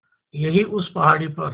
यहीं उस पहाड़ी पर